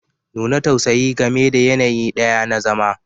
Nuna tausayi game da yanayi ɗaya na zama